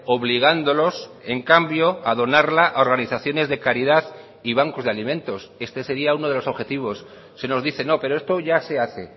obligándolos en cambio a donarla a organizaciones de caridad y bancos de alimentos este sería uno de los objetivos se nos dice no pero esto ya se hace